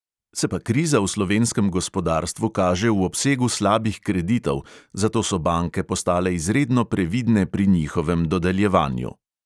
Se pa kriza v slovenskem gospodarstvu kaže v obsegu slabih kreditov, zato so banke postale izredno previdne pri njihovem dodeljevanju.